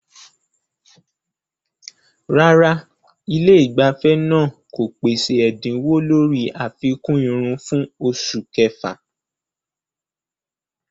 Rárá, ilé ìgbafẹ́ náà kò pèsè ẹ̀dínwó lórí àfikún irun fún oṣù kẹfà.